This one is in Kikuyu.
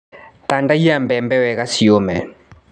Tandaiya mbembe wega ciũme.